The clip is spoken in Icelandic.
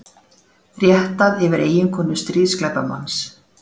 Réttað yfir eiginkonu stríðsglæpamanns